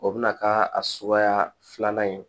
O bɛna k'a suguya filanan ye